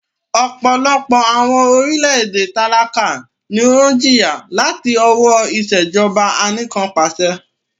Ọpọlọpọ awọn orilẹ-ede talaka ni o jiya lati lọwọ Ìṣèjọba Anìkanpàṣẹ